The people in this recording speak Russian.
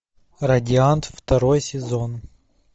радиант второй сезон